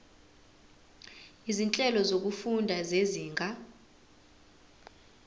izinhlelo zokufunda zezinga